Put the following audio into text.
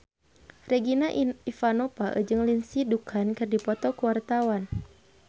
Regina Ivanova jeung Lindsay Ducan keur dipoto ku wartawan